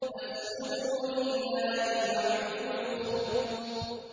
فَاسْجُدُوا لِلَّهِ وَاعْبُدُوا ۩